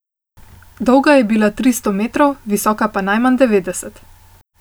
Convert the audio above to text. Dolga je bila tri sto metrov, visoka najmanj devetdeset.